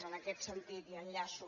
en aquest sentit i enllaço